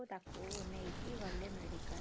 ସେଠୁ ତାକୁ ନେଇକି ଗଲେ medical ।